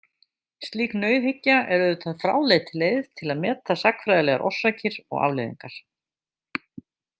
Slík nauðhyggja er auðvitað fráleit leið til að meta sagnfræðilegar orsakir og afleiðingar.